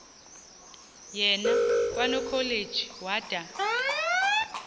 yena kwanokholeji wada